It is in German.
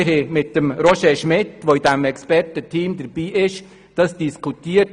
Wir haben mit Roger Schmitt, der in diesem Expertenteam dabei ist, diese Möglichkeit diskutiert.